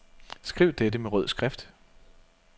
Skriv dette med rød skrift.